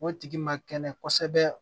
O tigi ma kɛnɛ kosɛbɛ